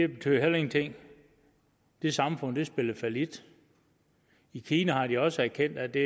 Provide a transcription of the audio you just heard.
betød heller ingenting det samfund spillede fallit i kina har de også erkendt at det